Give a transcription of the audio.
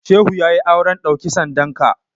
Shehu ya yi auren ɗauki sandanka.